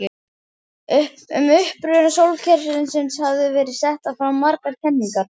Um uppruna sólkerfisins hafa verið settar fram margar kenningar.